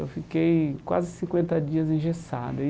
Eu fiquei quase cinquenta dias engessado e.